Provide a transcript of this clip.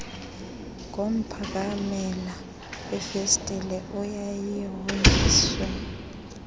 ngomphakamela wefesitile eyayihonjiswe